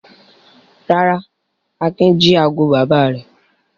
Rárá, Akin jí ago bàbá rẹ̀.